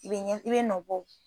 I be yɛ i bɛe nɔ bɔ o